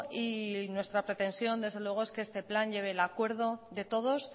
y nuestra pretensión desde luego es que este plan lleve el acuerdo de todos